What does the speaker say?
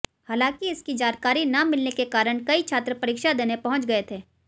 हालांकि इसकी जानकारी न मिलने के कारण कई छात्र परीक्षा देने पहुंच गए थे